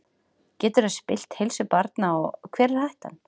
Getur það spillt heilsu barnanna og hver er hættan?